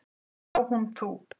Og þá hún þú.